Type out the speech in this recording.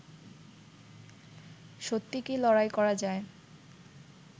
সত্যি কি লড়াই করা যায়